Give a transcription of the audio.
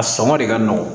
A sɔngɔ de ka nɔgɔn